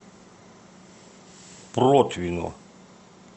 протвино